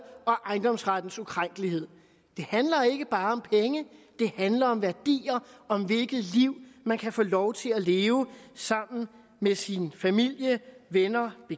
og ejendomsrettens ukrænkelighed det handler ikke bare om penge det handler om værdier og om hvilket liv man kan få lov til at leve sammen med sin familie venner og